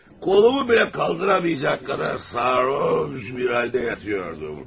Kolumu belə qaldıra bilməyəcək qədər sarhoş bir haldə yatıyordum.